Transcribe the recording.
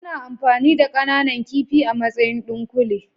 Ana amfani da kananan kifi a matsayin ɗunkule.